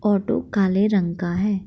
Auto काले रंग का है।